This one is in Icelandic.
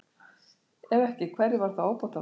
Ef ekki, hverju var þá ábótavant?